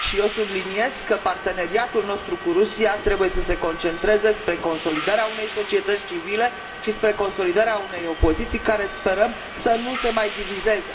Subliniez că parteneriatul nostru cu Rusia trebuie să se concentreze asupra consolidării unei societăți civile și a consolidării unei opoziții care, sperăm, să nu se mai divizeze.